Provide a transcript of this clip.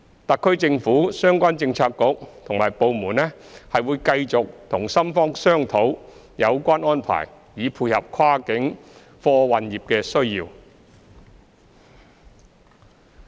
特區政府相關政策局和部門會繼續與深方商討有關安排，以配合跨境貨運業的需要。